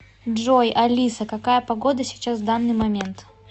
джой алиса какая погода сейчас в данный момент